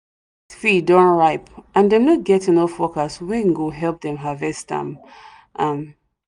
field don ripe and them no get enough workers wen e go help them harvest am am